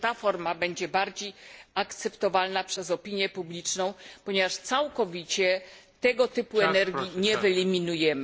Może ta forma będzie bardziej akceptowalna przez opinię publiczną, ponieważ całkowicie tego typu energii nie wyeliminujemy.